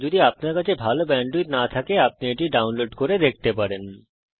যদি আপনার কাছে ভালো ব্যান্ডউইডথ না থাকে তাহলে আপনি এটা ডাউনলোড করেও দেখতে পারেন